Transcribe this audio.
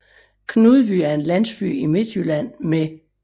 Knudby er en landsby i Midtjylland med